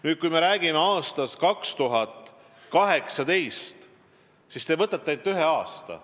Nüüd, kui me räägime aastast 2018, siis te võtate ainult ühe aasta.